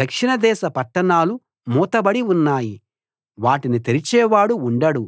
దక్షిణదేశ పట్టణాలు మూతబడి ఉన్నాయి వాటిని తెరిచేవాడు ఉండడు